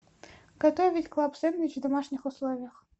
готовить клаб сэндвич в домашних условиях